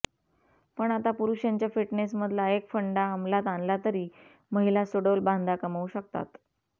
पण आता पुरुषांच्या फिटनेसमधला एक फंडा अमलात आणला तरी महिला सुडौल बांधा कमवू शकतात